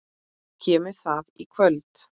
Kemur það í kvöld?